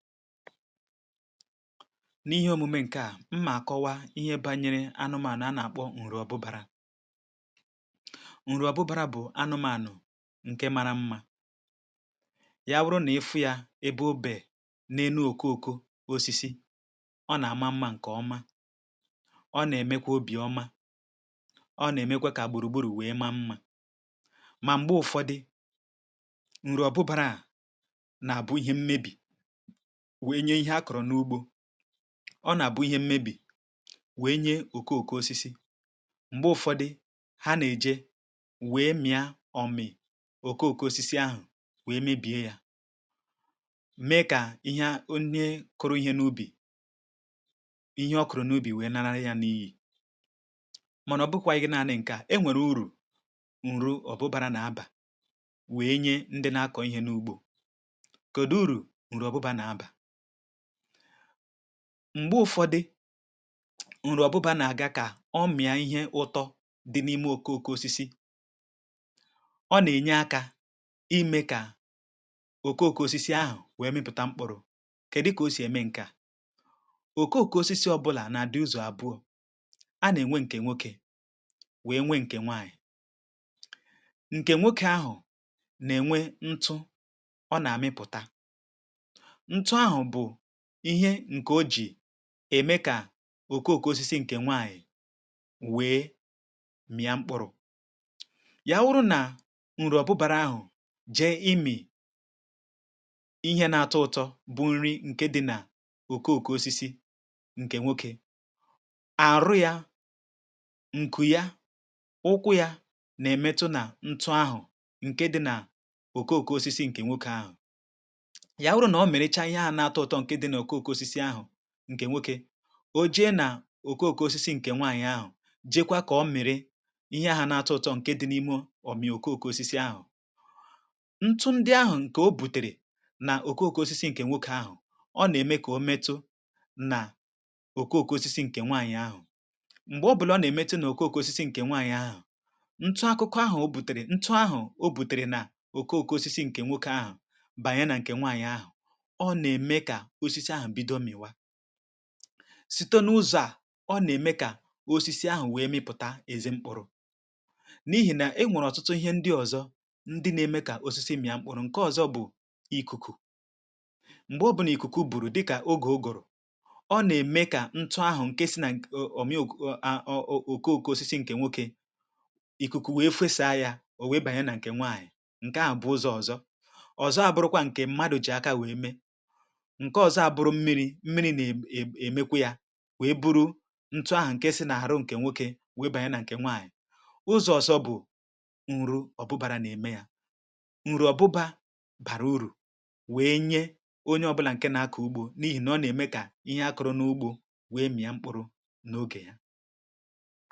N’ihe omume ǹke à, mmà àkọwa ihe bȧnyere anụmànụ̀ a nà-àkpọ ǹrụ̀ ọbụbȧrȧ: ǹrụ̀ ọbụbȧrȧ bụ̀ anụmȧnụ̀ ǹke mara mmȧ. Ya wụrụ nà ị fụ yȧ ebe obè na-enu òkoko osisi, ọ nà-àma mmȧ ǹkè oma, ọ nà-èmekwa obì ọma, ọ nà-èmekwa kà gbùrùgburù wèe ma mmȧ. Mà m̀gbe ụ̀fọdị, ǹrụ̀ ọbụbȧrȧ à, nà-àbụ ihe mmebì wee nye ihe a kọrọ n’ugbȯ. Ọ nàbụ ihe mmebì wee nye okooko osisi. Mgbe ụfọdị, ha nà-èje wee mịa ọ mị̀ okooko osisi ahụ̀ wee mebìe yȧ. Mee kà Ihe a onyė kụrụ ihe n’ubì, ihe ọ kụ̀rụ̀ n’ubì wee nara ya n’iyi. Mànà ọ bụkwanyị naanị ǹkè a, enwèrè ùrù ọ̀bụbàrà nà abà wee nye ndị na-akọ̀ ihe n’ugbȯ. Kòdù ụ̀rụ̀ ọ̀bụbà nà abà; Mgbe ụ̀fọdụ̀, nrụ̀ ọ̀bụbara nà-àga kà ọ mịà ihe ụtọ dị̀ n’ime okooko osisi, ọ nà-ènye akȧ imė kà okooko osisi ahụ̀ wee mịpụ̀ta mkpụrụ.̇ Kèdị kà o sì eme ǹke à; okooko osisi ọbụlà nà-àdị ụzọ̀ abụọ,̇ a nà-ènwe, ǹkè nwokė wee nwe ǹkè nwaànyị̀. Nkè nwokė ahụ̀ nà-ènwe ntụ ọ nà-àmịpụ̀ta, ntụ ahụ bu ìhe ǹkè o jì ème kà òkó òkó osisi ǹkè nwaànyị̀ wee mịa mkpụrụ.̇ Ya wụrụ nà ǹrụ̀ ọ̀bụbàrà ahụ̀ jee imì, ihe na-atọ ụtọ bụ̇ nri ǹke dị nà òkó òkó osisi ǹkè nwokė, àrụ yȧ, ǹkù ya, ụkwụ yȧ, nà-èmetụ nà ntụ ahụ̀ ǹke dị nà òkó òkó osisi ǹkè nwokė ahụ̀. Ya nwuru na o mirichaa Ihe ahụ nà -atọ ụtọ ndị di na nà okooko osisi ǹkè nwokė, ò jee nà òko òko osisi ǹkè nwanyị̀ ahụ̀, jeekwa kà ọ miri ihe ahụ na-atụ ụtọ ǹke dị n’imė omìi òko òko osisi ahụ̀. Ntụ ndị ahụ̀ ǹkè o bùtèrè nà òko òko osisi ǹkè nwokė ahụ̀, ọ nà-ème kà o metụ nà òko òko osisi ǹkè nwanyị̀ ahụ̀, m̀gbè o bùla ọ nà-èmetụ nà òko òko osisi ǹkè nwanyị̀ ahụ̀, ntụ akụkọ ahụ̀ bùtèrè, ntụ ahụ̀ o bùtèrè nà òko òkò osisi ǹkè nwokė ahụ̀ bànye nà ǹkè nwàànyị ahụ̀, ọ nà-emè kà osisi ahụ bịdo miwa. Sítọ n’ụzọ̀ à, ọ na-ème kà osisi ahụ̀ wee mịpụ̀ta ezi mkpụrụ.̇ N’ihì na enwèrè ọ̀tụtụ ihe ndị ọ̀zọ ndị na-eme kà osisi mị̀a mkpụrụ.̇ Nke ọ̀zọ bụ̀, ikuku; m̀gbe ọ bụ nà ikuku bụ̀rụ̀ dịkà ogè uguru, ọ na-ème kà ntụ ahụ̀ ǹkè si na nke ọ̀mịọ̇..ọ̀koọ̀ko osisi ǹkè nwokė, ikuku wee fesa yȧ, ò wee banyere nà ǹkè nwaanyị̀, ǹke à bụ̀ ụzọ̇ ọ̀zọ. ọ̀zọ à bụrụkwa ǹkè mmadụ̀ jì aka wee mee, Nke ọzọ a bụrụ mmiri, mmiri na-èmekwa yȧ, wèe buru ntụ ahụ̀ nke si n’àhụ nkè nwokė, wèe bànye nà ǹkè nwaànyị̀. ụzọ̀ ọ̀zọ bụ̀ nrụ ọ̀bụbàra na-ème ya. Nrụ̀ ọ̀bụbà, bàrà urù wee nye onye ọ bụlà ǹke na-aku ugbȯ, n’ihì nà ọ nà-ème kà ihe akuru n’ugbȯ wee mị̀a mkpụrụ n’ogè ya.